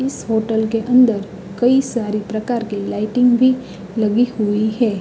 इस होटल के अंदर कई सारे प्रकार की लाइटिंग भी लगी हुई है।